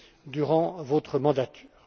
durant votre mandature.